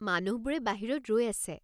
মানুহবোৰে বাহিৰত ৰৈ আছে।